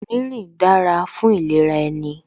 Rínrìn dára fún ìlera ẹni